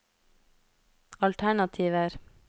alternativer